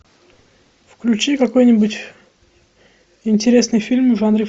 включи какой нибудь интересный фильм в жанре